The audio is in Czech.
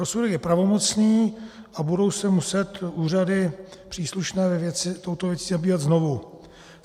Rozsudek je pravomocný a budou se muset úřady příslušné ve věci touto věcí zabývat znovu.